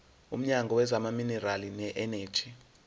womnyango wezamaminerali neeneji